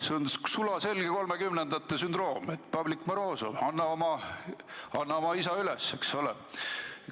See on sulaselge 1930-ndate sündroom, et, Pavlik Morozov, anna oma isa üles, eks ole.